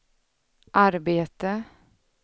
arbete